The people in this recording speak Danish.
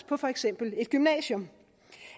på for eksempel et gymnasium